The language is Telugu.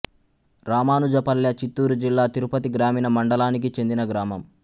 రామానుజపల్లె చిత్తూరు జిల్లా తిరుపతి గ్రామీణ మండలానికి చెందిన గ్రామం